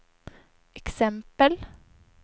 exempel